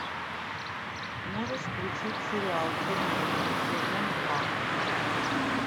можешь включить сериал чернобыль сезон два